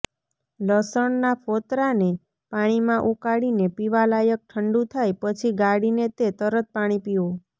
લસણના ફોતરાંને પાણીમાં ઉકાળીને પીવાલાયક ઠંડુ થાય પછી ગાળીને તે પાણી પીઓ